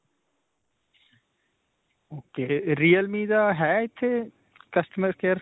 ok. realme ਦਾ ਹੈ ਇੱਥੇ customer care?